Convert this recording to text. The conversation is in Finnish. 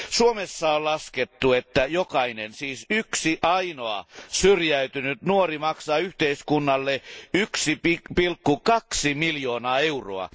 Suomessa on laskettu että jokainen siis yksi ainoa syrjäytynyt nuori maksaa yhteiskunnalle 1,2 miljoonaa euroa.